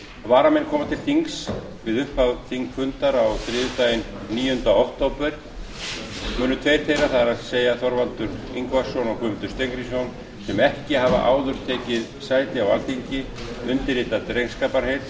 varamenn koma til þings við upphaf þingfundar á þriðjudaginn níundi október skulu tveir þeirra það er þorvaldur ingvason og guðmundur steingrímsson sem ekki hafa áður tekið sæti á alþingi undirrita drengskaparheit